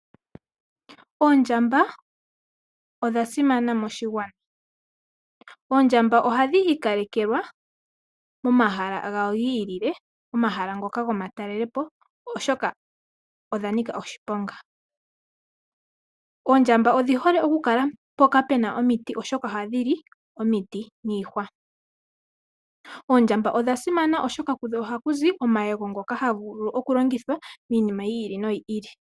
Oondjamba odha simana moshigwana. Oondjamba ohadhi ikalekelwa momahala gawo gi ilile, momahala ngoka gomatalelepo oshoka odha nika oshiponga. Oondjamba odhi hole okukala mpoka omiti oshoka ohadhi li omiti niihwa. Oondjamba odha simana oshoka kudho ohaku zi omayego ngoka haga vulu okulongithwa miinima yi ili no yi ili.